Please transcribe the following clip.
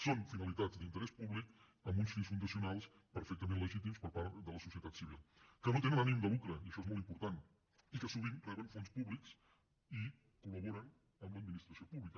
són finalitats d’interès públic amb uns fins fundacionals perfectament legítims per part de la societat civil que no tenen ànim de lucre i això és molt important i que sovint reben fons públics i col·laboren amb l’administració pública